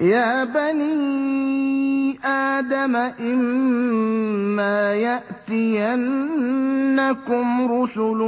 يَا بَنِي آدَمَ إِمَّا يَأْتِيَنَّكُمْ رُسُلٌ